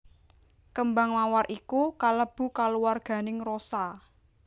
Kembang Mawar iku kalebu kaluwarganing Rosa